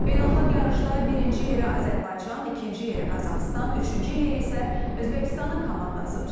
Beynəlxalq yarışda birinci yeri Azərbaycan, ikinci yeri Qazaxıstan, üçüncü yeri isə Özbəkistanın komandası tutub.